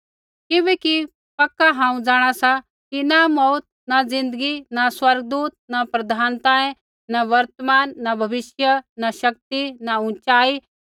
किबैकि हांऊँ पक्का जाँणा सा कि न मौऊत न ज़िन्दगी न स्वर्गदूत न प्रधानताएं न वर्तमान न भविष्य न शक्ति न उँचाई